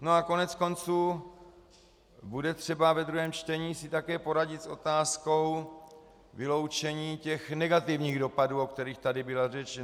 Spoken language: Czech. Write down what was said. No a koneckonců bude třeba ve druhém čtení si také poradit s otázkou vyloučení těch negativních dopadů, o kterých tady byla řeč.